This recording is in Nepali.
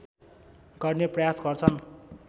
गर्ने प्रयास गर्छन्